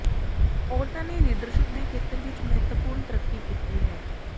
ਔਰਤਾਂ ਨੇ ਲੀਡਰਸ਼ਿਪ ਦੇ ਖੇਤਰ ਵਿਚ ਮਹੱਤਵਪੂਰਨ ਤਰੱਕੀ ਕੀਤੀ ਹੈ